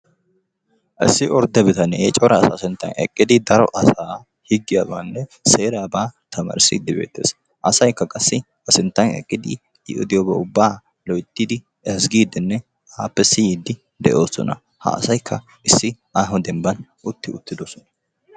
Issi ordde bitanee cora asa sinttan eqqidi daro asaa higgiyabaanne seeraabaa tamaarissidde beettees. Asaykka qassi A sinttan eqqidi I oddiyooba ubba loyttidi siyyidinne appe tamaaride de'oosona. Ha asaykka issi aaho dembba utti uttidoosona.